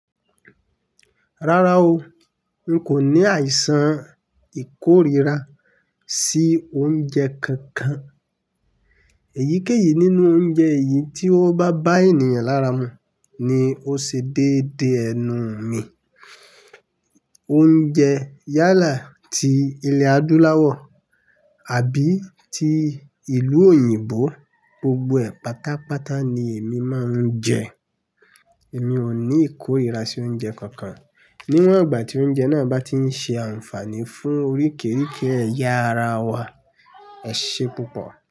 Rárá o, n kò ní àìsàn ìkórira sí oúnjẹ kankan. Èyíkéyìí nínú oúnjẹ yìí tí ó bá bá ènìyàn lára mu ni ó ṣe déde ẹnu mi. Oúnjẹ yálà ti ilẹ̀ Adúláwọ̀ àbí ti ìlú òyìnbó, gbogbo ẹ̀ pátápátá ni èmi máa ń jẹ. Èmi ò ní ìkórira sí oúnjẹ kankan. Níwọ̀n ìgbà tí oúnjẹ náà bá ti ń ṣe àǹfààní fún oríkerike ẹ̀ya ara wa, ẹ ṣe púpọ̀